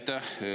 Aitäh!